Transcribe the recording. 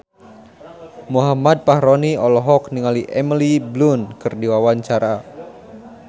Muhammad Fachroni olohok ningali Emily Blunt keur diwawancara